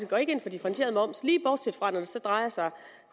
går ind for differentieret moms lige bortset fra når det så drejer sig om